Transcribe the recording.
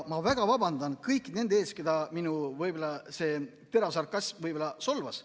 Ma väga vabandan kõigi nende ees, keda minu võib-olla terav sarkasm solvas.